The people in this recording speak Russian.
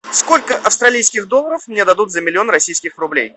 сколько австралийски долларов мне дадут за миллион российских рублей